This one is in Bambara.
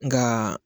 Nka